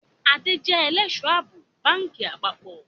Adé jẹ ẹlẹ́sọ̀-àbò báńkì àpapọ̀